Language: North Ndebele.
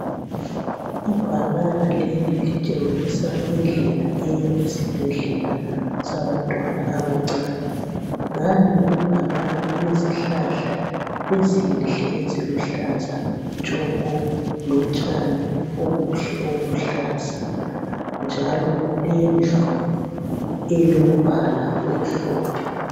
Ibhakana leli litshengisa indlela eya esibhledlela sabantwana abancane. Ngale kwebhakana kulezihlahla ezinhle eziluhlaza thsoko lotshani obuhle obuluhlaza, njalo kulendlu elombala omhlophe.